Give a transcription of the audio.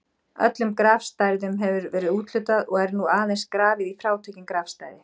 Öllum grafstæðum hefur verið úthlutað og er nú aðeins grafið í frátekin grafstæði.